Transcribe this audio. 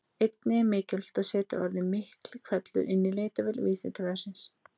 Einnig er gagnlegt að setja orðið Miklihvellur inn í leitarvél Vísindavefsins.